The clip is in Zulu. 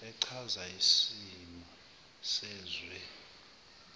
echaza isimo sezwe